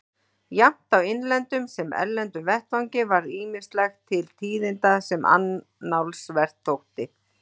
Jafnt á innlendum sem erlendum vettvangi varð ýmislegt til tíðinda sem annálsvert þótti.